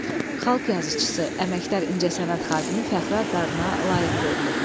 Xalq yazıçısı, Əməkdar incəsənət xadimi Fəxri adlarına layiq görülüb.